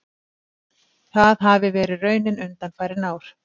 Það hafi verið raunin undanfarin ár